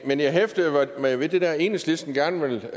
men jeg hæftede mig ved at enhedslisten gerne vil